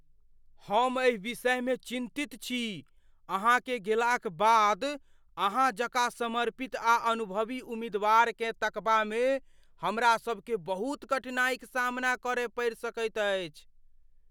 हम एहि विषयमे चिन्तित छी अहाँकेँ गेलाक बाद अहाँ जकाँ समर्पित आ अनुभवी उम्मीदवारकेँ तकबामे हमरा सभकेँ बहुत कठिनाइक सामना करय पड़ि सकैत अछि।